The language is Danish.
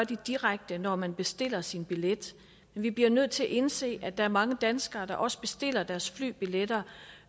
det direkte når man bestiller sin billet men vi bliver nødt til at indse at der er mange danskere der også bestiller deres flybilletter